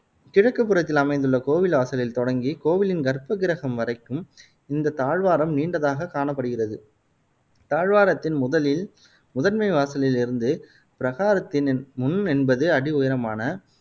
கிழக்குப்புறத்தில் அமைந்துள்ள கோவில் வாசலில் தொடங்கி கோவிலின் கற்பக்கிரஹம் வரைக்கும் இந்த தாழ்வாரம் நீண்டதாக காணப்படுகிறது. தாழ்வாரத்தின் முதலில் முதன்மை வாசலில் இருந்து பிரகாரத்தினின் முன் எண்பது அடி உயரமான